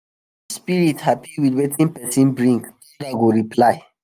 spirit happy with wetin people bring thunder go reply. reply.